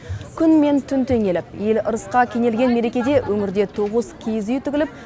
күн мен түн теңеліп ел ырысқа кенелген мерекеде өңірде тоғыз киіз үй тігіліп